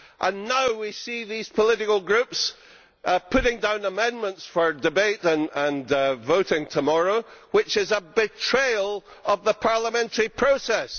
and now we see these political groups putting down amendments for debate and voting tomorrow which is a betrayal of the parliamentary process.